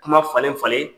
Kuma falen falen